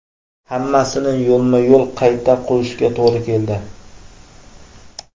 Hammasini yo‘lma-yo‘l qayta qurishga to‘g‘ri keldi.